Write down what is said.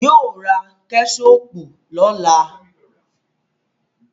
Yóò ra Kẹ́ṣọpù lọ́la